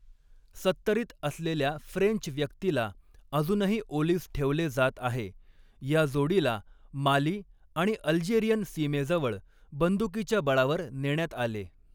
सत्तरीत असलेल्या फ्रेंच व्यक्तीला अजूनही ओलीस ठेवले जात आहे, या जोडीला माली आणि अल्जेरियन सीमेजवळ बंदुकीच्या बळावर नेण्यात आले.